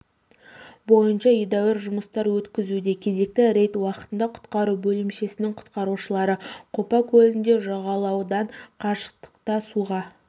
бойынша едеуір жұмыстар өткізуде кезекті рейд уақытында құтқару бөлімшесінің құтқарушылары қопа көлінде жағалаудан қашықтықта суға